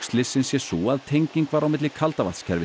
slyssins sé sú að tenging var á milli